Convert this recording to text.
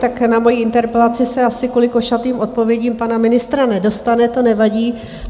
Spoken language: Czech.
Tak na moji interpelaci se asi kvůli košatým odpovědím pana ministra nedostane, to nevadí.